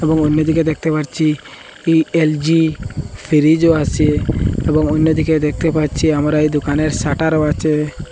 এবং অন্যদিকে দেখতে পারচি ই_এল_জি ফিরিজও আছে এবং অইন্যদিকে দেখতে পাচ্ছি আমরা এই দোকানের শাটারও আচে।